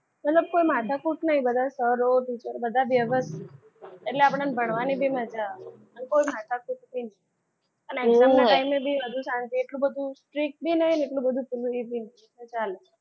મતલબ કોઈ માથાકૂટ નથી બધા સરોવર teacher બધા વ્યવસ્થિત છે. એટલા પણ આપણને મળવાની પણ મજા આવે કોઈ માથાકૂટ નથી. બધું શાંતિ એટલું બધું strict બી નહીં અને એટલું બધું free પણ નહીં ચાલે.